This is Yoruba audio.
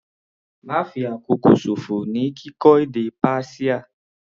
Ma fi àsìkò ṣòfò ní kíkọ́ èdè Persia.